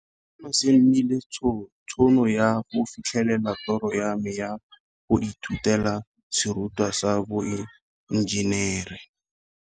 Seno se nneile tšhono ya go fitlhelela toro ya me ya go ithutela serutwa sa boe njenere.